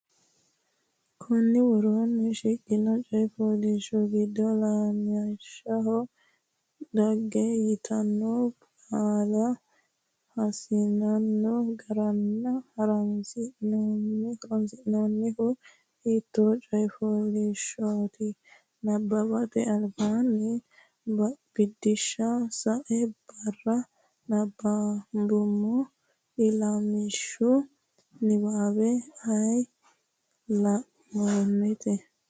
Konni woroonni shiqqino coy fooliishshuwa giddo Ilamishshu dhagge yitanno qaalla hasiisanno garinni horonsi’noonnihu hiittenne coy fooliishshoraati? Nabbawate Albaanni Biddissa Sai barra nabbambummo ilamishshu niwaawe ayee lainohunniiti?